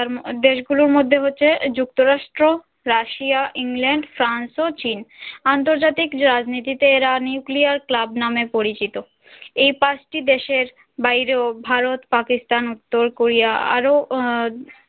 Russia England France ও চীন আন্তর্জাতিক রাজনীতিতে এরা নিউক্লিয়ার ক্লাব নামে পরিচিত এই পাঁচটি দেশের বাইরেও ভারত পাকিস্তান উত্তর কোরিয়া আরও ও